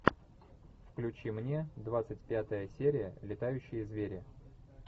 включи мне двадцать пятая серия летающие звери